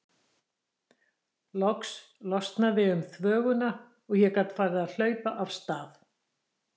Loks losnaði um þvöguna og ég gat farið að hlaupa af stað.